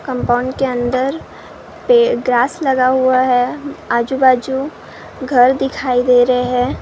Compound के अंदर पे ग्रास लगा हुआ है आजुबाजु घर दिखाई दे रहे हैं।